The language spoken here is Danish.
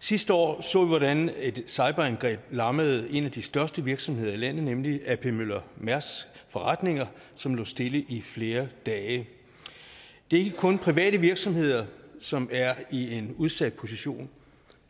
sidste år så vi hvordan et cyberangreb lammede en af de største virksomheder i landet nemlig ap møller mærsks forretninger som lå stille i flere dage det er ikke kun private virksomheder som er i en udsat position